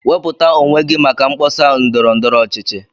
Wepụta onwe gị maka mkpọsa ndọrọ ndọrọ ọchịchị